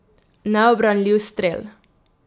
Neubranljiv strel.